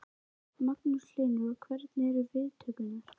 Magnús Hlynur: Og hvernig eru viðtökurnar?